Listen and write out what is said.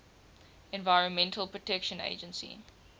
environmental protection agency